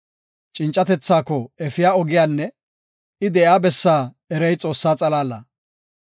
“Cincatethako efiya ogiyanne I de7iya bessaa erey Xoossaa xalaala.